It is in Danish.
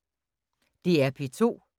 DR P2